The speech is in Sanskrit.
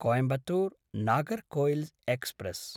कोयंबत्तूर्–नागेरकोइल् एक्स्प्रेस्